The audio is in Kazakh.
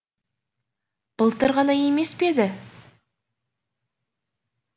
былтыр ғана емес пе еді